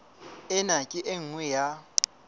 ena ke e nngwe ya